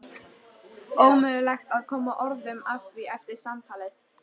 Ómögulegt að koma orðum að því eftir samtalið.